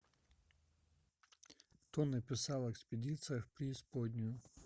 кто написал экспедиция в преисподнюю